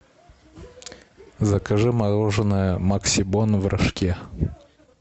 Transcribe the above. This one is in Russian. закажи мороженое максибон в рожке